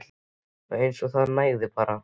Já. eins og það nægði bara.